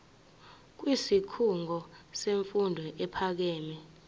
kwisikhungo semfundo ephakeme